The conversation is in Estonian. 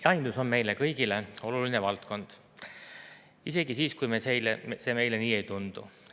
Jahindus on meile kõigile oluline valdkond, isegi siis, kui see meile nii ei tundu.